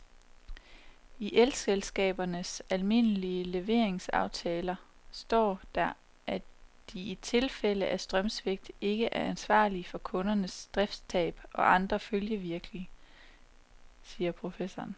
I elselskabernes almindelige leveringsaftaler står der, at de i tilfælde af strømsvigt ikke er ansvarlig for kundernes driftstab og andre følgevirkninger, siger professoren.